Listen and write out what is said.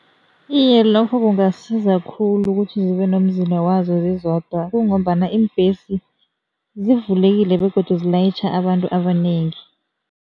Iye, lokho kungasiza khulu kuthi zibe nomzila wazo zizodwa kungombana iimbesi zivulekile begodu zilayitjha abantu abanengi.